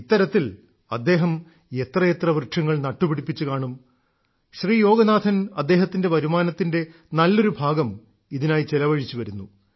ഇത്തരത്തിൽ അദ്ദേഹം എത്രയെത്ര വൃക്ഷങ്ങൾ നട്ടുപിടിപ്പിച്ചുകാണും ശ്രീ യോഗനാഥൻ അദ്ദേഹത്തിന്റെ വരുമാനത്തിന്റെ നല്ലൊരു ഭാഗം ഇതിനായി ചെലവഴിച്ചുവരുന്നു